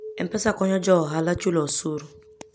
M-Pesa konyo jo ohala chulo osuru.